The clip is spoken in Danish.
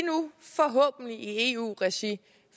i eu regi